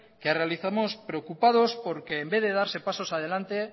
que realizamos preocupados porque en vez de darse pasos adelante